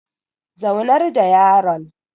Zaunar da yaron